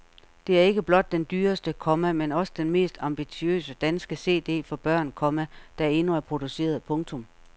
Det er ikke blot den dyreste, komma men også den mest ambitiøse danske CD for børn, komma der endnu er produceret. punktum